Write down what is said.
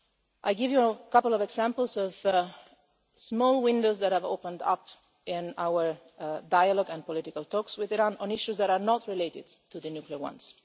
it. I'll give you a couple of examples of small windows that have opened up in our dialogue and political talks with Iran on issues that are not related to the nuclear